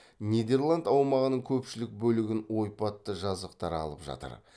нидерланд аумағының көпшілік бөлігін ойпатты жазықтар алып жатыр